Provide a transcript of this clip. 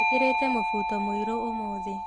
Njĩkĩrĩte mũbuto mũirũ ũmũthĩ